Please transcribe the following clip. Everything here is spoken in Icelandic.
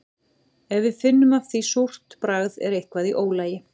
Ef við finnum af því súrt bragð er eitthvað í ólagi.